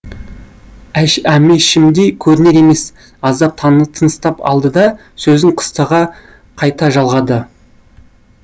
әмешімдей көрінер емес аздап тыныстап алды да сөзін қыстыға қайта жалғады